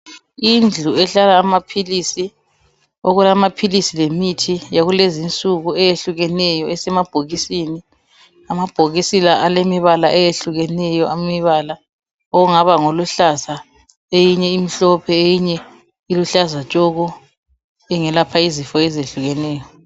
Indlu ehlala amaphilisi okulamaphilisi lemithi yakulezi nsuku eyehlukeneyo esemabhokisini amabhokisi la alemibala eyehlukeneyo imibala ongaba ngoluhlaza eyinye imhlophe eyinye iluhlaza tshoko engelapha izifo ezihlukeneyo.